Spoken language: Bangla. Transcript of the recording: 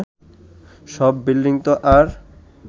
সব বিল্ডিংতো আর